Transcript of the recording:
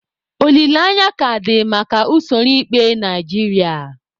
Olileanya aka dị maka usoro ikpe Naijiria?